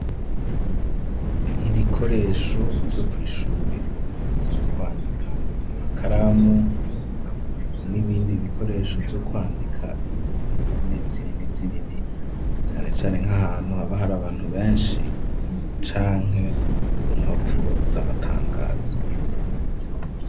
Ibikoresho vyo kwishure ,vyo kwandika imakaramu, n'ibindi ibikoresho vyo kwandika indome zinini zinini cane cane, nk'ahantu haba hari abantu benshi canke ku mpapuro z'amatangazo.